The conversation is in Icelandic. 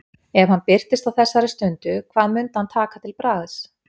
Ef hann birtist á þessari stund, hvað mundi hann taka til bragðs?